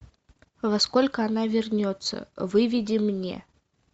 во сколько она вернется выведи мне